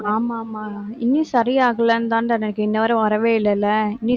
ஆமா, ஆமா. இன்னும் சரியாகலைன்னுதான்டா இன்னவரை வரவே இல்லைல்ல. நீ